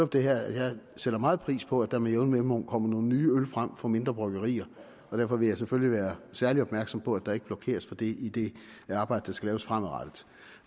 det her at jeg sætter meget pris på at der med jævne mellemrum kommer nogle nye øl frem fra mindre bryggerier og derfor vil jeg selvfølgelig være særlig opmærksom på at der ikke blokeres for det i det arbejde der skal laves fremadrettet